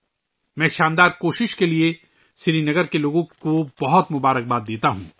میں سری نگر کے لوگوں کو اس شاندار کاوش کے لئے بہت بہت مبارکباد پیش کرتا ہوں